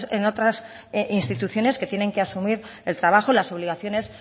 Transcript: en otras instituciones que tienen que asumir el trabajo y las obligaciones